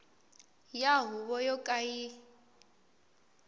ya huvo yo ka yi